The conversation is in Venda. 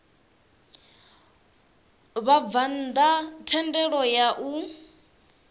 vhabvann ḓa thendelo ya u